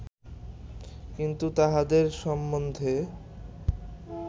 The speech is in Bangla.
কিন্তু তাঁহাদের সম্বন্ধে